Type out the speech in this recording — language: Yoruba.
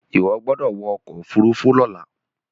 iwọ gbódò wọ ọkọ òfurufú lola!